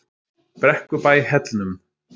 Brekkubæ Hellnum